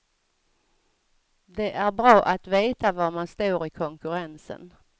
Det är bra att veta var man står i konkurrensen.